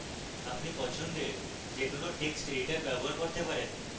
আপনি পছন্দের যে কোনো text editor ব্যবহার করতে পারেন